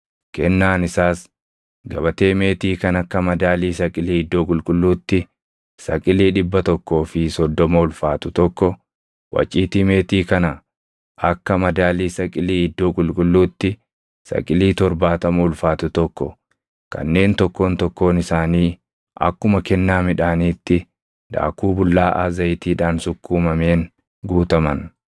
Kennaan isaas gabatee meetii kan akka madaalii saqilii iddoo qulqulluutti saqilii dhibba tokkoo fi soddoma ulfaatu tokko, waciitii meetii kana akka madaalii saqilii iddoo qulqulluutti saqilii torbaatama ulfaatu tokko kanneen tokkoon tokkoon isaanii akkuma kennaa midhaaniitti daakuu bullaaʼaa zayitiidhaan sukkumameen guutaman,